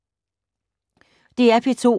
DR P2